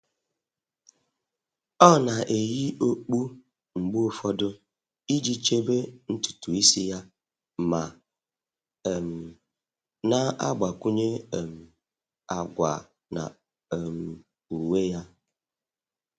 Ọ́ nà-eyì okpu mgbe ụfọdụ iji chèbè ntùtù ísí yá ma um nà-àgbakwụnye um àgwà na um uwe yá.